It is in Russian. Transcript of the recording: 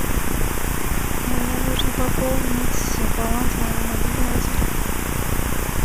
мне нужно пополнить баланс моего мобильного телефона